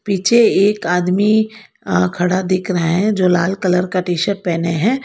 पीछे एक आदमी अह खड़ा दिख रहा है जो लाल कलर का टी शर्ट पहने है।